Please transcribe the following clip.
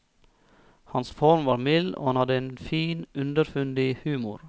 Hans form var mild, og han hadde en fin, underfundig humor.